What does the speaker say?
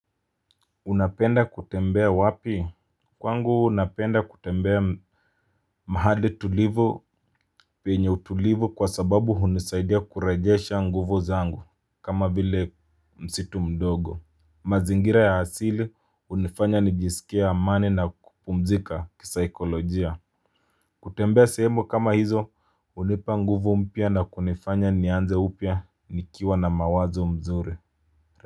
Unapenda kutembea wapi? Kwangu unapenda kutembea mahali tulivu penye utulivu kwa sababu hunisaidia kurejesha nguvu zangu. Kama vile msitu mdogo. Mazingira ya asili hunifanya nijisikie amani na kupumzika kisaikolojia. Kutembea sehemu kama hizo hunipa nguvu mpya na kunifanya nianze upya nikiwa na mawazo mzuri.